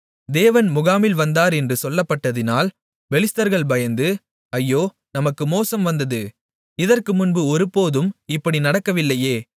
தேவன் முகாமில் வந்தார் என்று சொல்லப்பட்டதினால் பெலிஸ்தர்கள் பயந்து ஐயோ நமக்கு மோசம் வந்தது இதற்குமுன்பு ஒருபோதும் இப்படி நடக்கவில்லையே